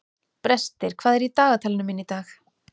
Brestir, hvað er í dagatalinu mínu í dag?